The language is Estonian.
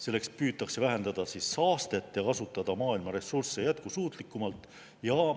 Selleks püütakse vähendada saastet ja kasutada maailma ressursse jätkusuutlikumalt.